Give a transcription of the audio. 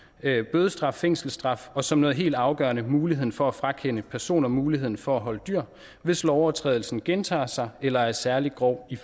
bødestraf fængselsstraf og som noget helt afgørende muligheden for at frakende personer muligheden for at holde dyr hvis lovovertrædelsen gentager sig eller er særlig grov i